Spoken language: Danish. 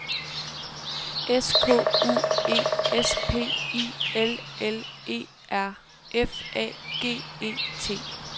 S K U E S P I L L E R F A G E T